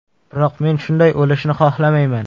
Biroq men shunday o‘lishni xohlamayman.